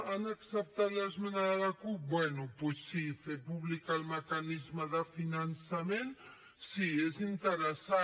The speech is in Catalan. han acceptat l’esmena de la cup bé doncs sí fer públic el mecanisme de finançament sí és interessant